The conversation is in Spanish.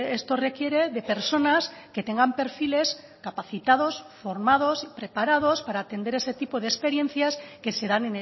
esto requiere de personas que tengan perfiles capacitados formados y preparados para atender ese tipo de experiencias que se dan